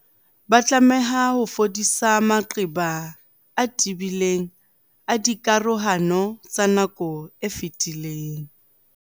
Ba tlameha ho fodisa maqeba a tebileng a dikarohano tsa nako e fetileng.